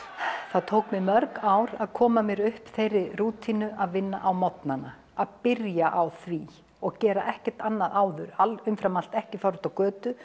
það tók mig mörg ár að koma mér upp þeirri rútínu að vinna á morgnana að byrja á því og gera ekkert annað áður umfram allt ekki fara út á götu